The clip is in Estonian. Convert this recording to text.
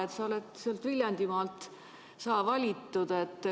Sa oled Viljandimaalt valitud.